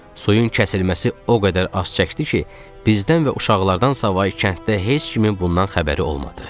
Suyun kəsilməsi o qədər az çəkdi ki, bizdən və uşaqlardan savayı kənddə heç kimin bundan xəbəri olmadı.